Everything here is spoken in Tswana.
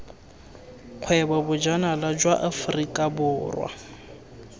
kgwebo bojanala jwa aforika borwa